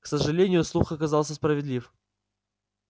к сожалению слух оказался справедлив